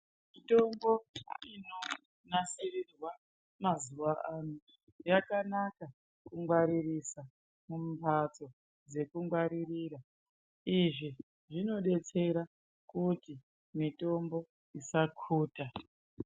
Mitombo inonasirirwa mazuwano yakanaka kungwaririsa mumbatso dzekungwaririra izvi zvinodetsera kuti mitombo isakuta.